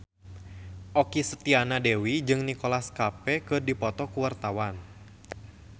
Okky Setiana Dewi jeung Nicholas Cafe keur dipoto ku wartawan